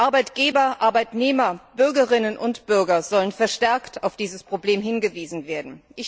Arbeitgeber, Arbeitnehmer, Bürgerinnen und Bürger sollen verstärkt auf dieses Problem hingewiesen werden.